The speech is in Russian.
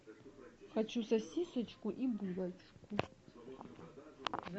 хочу сосисочку и булочку